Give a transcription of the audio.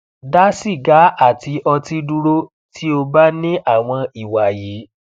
da siga ati oti duro ti o ba ni awon iwa yi